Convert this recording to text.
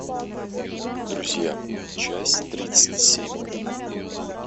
друзья часть тридцать семь